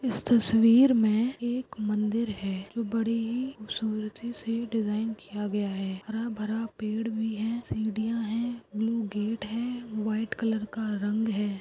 इस तस्वीर में एक मंदिर है जो बडीही खुबसूरती से डिजाइन किया गया है हरा भरा पेड है सीडिया है ब्लू गेट है व्हाइट कलर का रंग है।